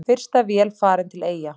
Fyrsta vél farin til Eyja